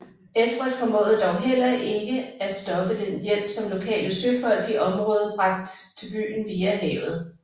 Edvard formåede dog heller ikke stoppe den hjælp som lokale søfolk i området bragt til byen via havet